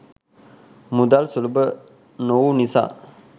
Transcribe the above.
මුදල් සුලභ නොවූ නිසා